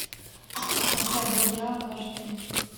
поставь зодиак аш дэ